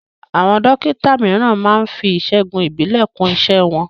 Àwọn Dókítà mìíràn máá ń fi ìṣègùn ìbílẹ̀ kún iṣẹ́ wọn